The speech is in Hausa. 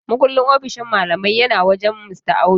Mukullin ofishin malaman yana wajen Mista Audu.